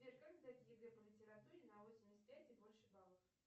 сбер как сдать егэ по литературе на восемьдесят пять и больше баллов